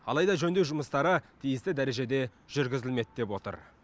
алайда жөндеу жұмыстары тиісті дәрежеде жүргізілмеді деп отыр